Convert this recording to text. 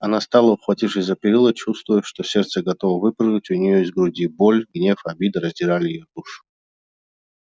она стала ухватившись за перила чувствуя что сердце готово выпрыгнуть у неё из груди боль гнев обида раздирали её душу